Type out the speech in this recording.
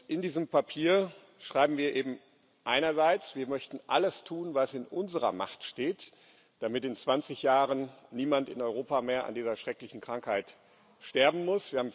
In diesem Papier schreiben wir eben einerseits Wir möchten alles tun, was in unserer Macht steht, damit in 20 Jahren niemand mehr in Europa an dieser schrecklichen Krankheit sterben muss.